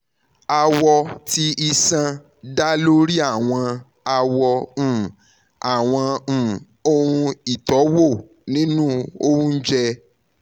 awọ ti iṣan da lori awọn awọ um awọn um ohun itọwo ninu ounjẹ